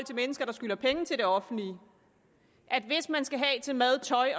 mennesker der skylder penge til det offentlige at hvis man skal have til mad tøj